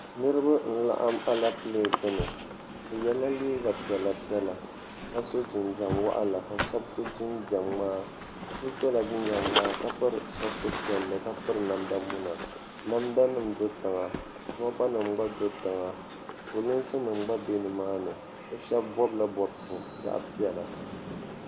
Niriba n laɣim Alapilee gbini bɛ yela liiga piɛla piɛla ka so jinjiɛm waɣala ka sheba so jinjiɛm ŋmaa so sola jinjiɛm ŋmaa ka piri soɣasi piɛli la piri namda namda nima do tiŋa loba nima gba do tiŋa bɛ polinsi nima gna bɛ nimaani bɛ sheba bobla bobsiaɣa piɛla.